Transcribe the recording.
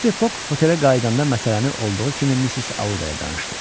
Mr. Fox otelə qayıdanda məsələni olduğu kimi Missis Adaya danışdı.